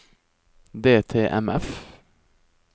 DTMF